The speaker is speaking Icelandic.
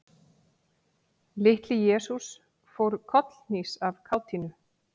Litli-Jesús fór kollhnís af kátínu.